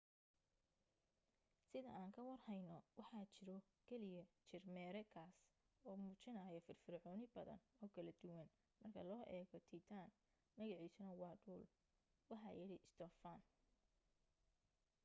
sida aan ka war heyno waxaa jiro keliya jir mere kaas oo muujinayo firfircooni badan oo kala duwan marka loo eego titan magaciisuna waa dhul waxa yidhi stophan